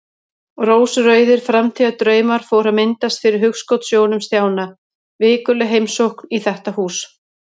Rósrauðir framtíðardraumar fóru að myndast fyrir hugskotssjónum Stjána: Vikuleg heimsókn í þetta hús.